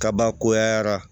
Kabakoyara